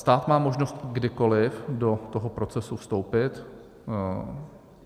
Stát má možnost kdykoliv do toho procesu vstoupit.